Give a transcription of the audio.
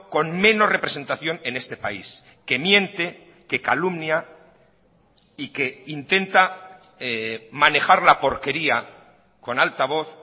con menos representación en este país que miente que calumnia y que intenta manejar la porquería con altavoz